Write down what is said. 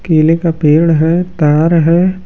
केले का पेड़ है तार है।